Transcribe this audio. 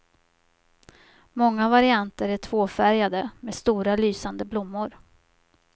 Många varianter är tvåfärgade med stora lysande blommor.